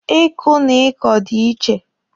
Ị kụ na ị kọ dị iche.